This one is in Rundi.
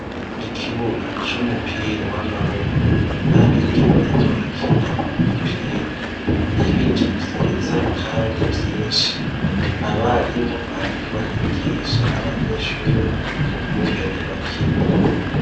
Ikibuga c'umupira w'amaboko. Abigeme bariko barakina umupira. Ibiti vyiza kandi vyinshi . Abarimu bariko barigigisha abanyeshure ukungene bakina.